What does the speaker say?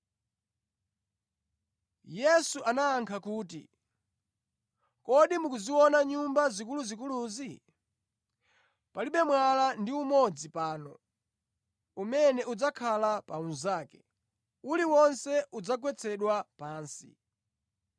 Yesu anayankha kuti, “Kodi mukuziona nyumba zikuluzikuluzi? Palibe mwala ndi umodzi pano umene udzakhala pa unzake; uliwonse udzagwetsedwa pansi.”